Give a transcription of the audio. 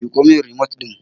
Miƙo min rimot ɗin!